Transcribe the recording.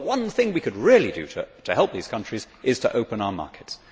The one thing we could really do to help those countries is to open our markets.